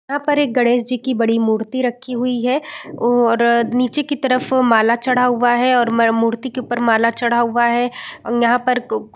यहाँ पर एक गणेश जी की बड़ी मूर्ति रखी हुई है और नीचे की तरफ माला चढ़ा हुआ है और मा मूर्ति के ऊपर माला चढ़ा हुआ है यहाँ पर कु --